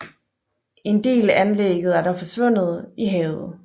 En del anlægget er dog forsvundet i havet